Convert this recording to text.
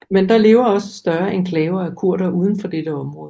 Men der lever også større enklaver af kurdere uden for dette område